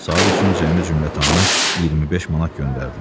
Saat üçün cəmi-cümətanı 25 manat göndərdilər.